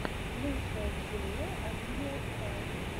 лучшая серия оливия стар